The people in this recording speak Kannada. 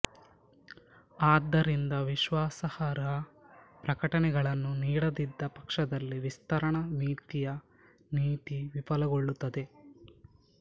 ಆದ್ದರಿಂದ ವಿಶ್ವಾಸಾರ್ಹ ಪ್ರಕಟಣೆಗಳನ್ನು ನೀಡದಿದ್ದ ಪಕ್ಷದಲ್ಲಿ ವಿಸ್ತರಣಾ ವಿತ್ತೀಯ ನೀತಿ ವಿಫಲಗೊಳ್ಳುತ್ತದೆ